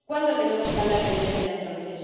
¿Cuándo tenemos que hablar de Venezuela, entonces?